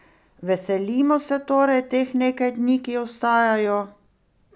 Veselimo se torej teh nekaj dni, ki ostajajo?